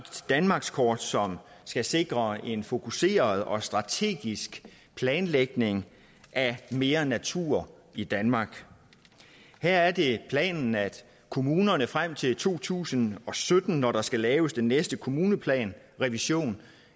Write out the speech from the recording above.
danmarkskort som skal sikre en fokuseret og strategisk planlægning af mere natur i danmark her er det planen at kommunerne frem til to tusind og sytten når der skal laves den næste kommuneplansrevision